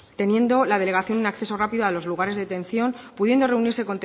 teniendo la delegación un acceso rápido a los lugares de detención pudiendo reunirse